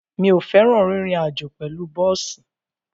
Mi ò fẹ́ràn rírin àjó pẹ̀lú bọ́ọ̀sì.